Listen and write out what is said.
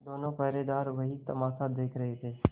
दोनों पहरेदार वही तमाशा देख रहे थे